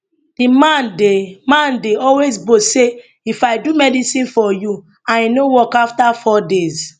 di man dey man dey always boast say if i do medicine for you and e no work afta four days